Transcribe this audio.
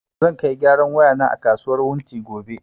Zai kai gyaran waya na a kasuwar wunti gobe